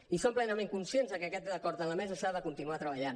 i som plenament conscients que aquest acord a la mesa s’ha de continuar treballant